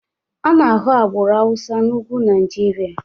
A na-ahụ agbụrụ Hausa na ugwu Nigeria